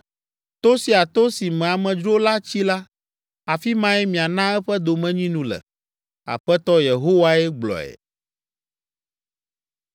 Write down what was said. To sia to si me amedzro la tsi la, afi mae miana eƒe domenyinu le.” Aƒetɔ Yehowae gblɔe.